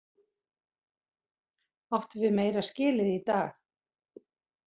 Áttum við meira skilið í dag?